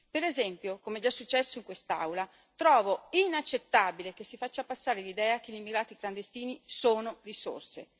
Per esempio, come è già successo in quest'Aula, trovo inaccettabile che si faccia passare l'idea che gli immigrati clandestini siano risorse.